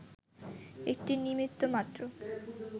একটি নিমিত্ত মাত্র